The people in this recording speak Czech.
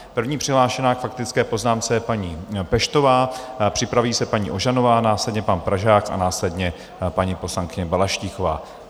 První přihlášená k faktické poznámce je paní Peštová, připraví se paní Ožanová, následně pan Pražák a následně paní poslankyně Balaštíková.